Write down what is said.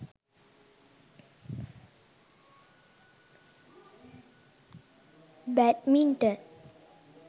badminton